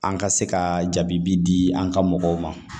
An ka se ka jaabi di an ka mɔgɔw ma